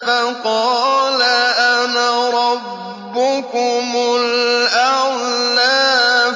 فَقَالَ أَنَا رَبُّكُمُ الْأَعْلَىٰ